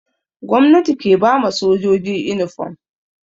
Gomnati ke ba ma sojoji inifom.